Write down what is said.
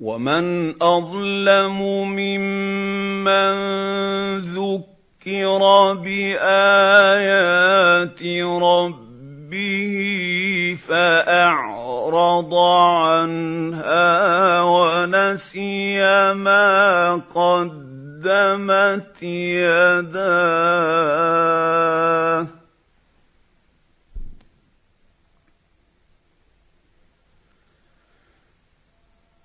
وَمَنْ أَظْلَمُ مِمَّن ذُكِّرَ بِآيَاتِ رَبِّهِ فَأَعْرَضَ عَنْهَا وَنَسِيَ مَا قَدَّمَتْ يَدَاهُ ۚ